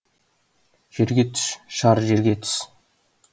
жерге түс шар жерге түс